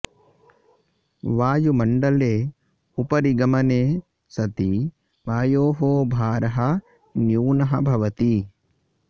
वायुमण्डले उपरि गमने सति वायोः भारः न्यूनः भवति